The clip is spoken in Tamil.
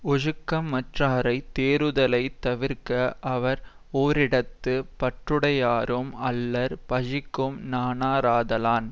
ஒழுக்கமற்றாரை தேறுதலைத் தவிர்க அவர் ஓரிடத்து பற்றுடையாரும் அல்லர் பழிக்கும் நாணாராதலான்